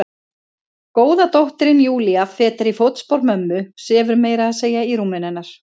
Góða dóttirin Júlía, fetar í fótspor mömmu, sefur meira að segja í rúminu hennar.